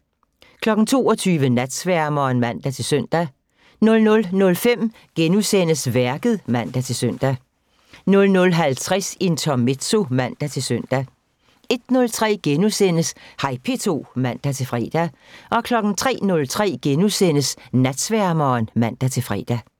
22:00: Natsværmeren (man-søn) 00:05: Værket *(man-søn) 00:50: Intermezzo (man-søn) 01:03: Hej P2 *(man-fre) 03:03: Natsværmeren *(man-fre)